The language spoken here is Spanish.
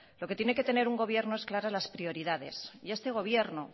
lo que tiene que tener un gobierno es claras las prioridades y este gobierno